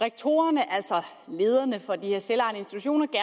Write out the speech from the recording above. at rektorerne altså lederne for de her selv